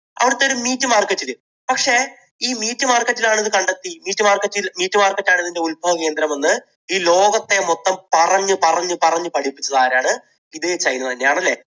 അവിടുത്തെ ഒരു meat market ൽ. പക്ഷേ ഈ meat market ൽ ആണിത് കണ്ടെത്തിയത് meat market ~meat market ആണിതിന്റെ ഉൽഭവകേന്ദ്രം എന്ന് ഈ ലോകത്തെ മൊത്തം പറഞ്ഞു പറഞ്ഞു പറഞ്ഞു പഠിപ്പിച്ചതാരാണ്? ഇതേ ചൈന തന്നെയാണ്. അല്ലേ?